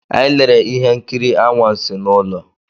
Anyị lere ihe nkiri anwansi n'ụlọ.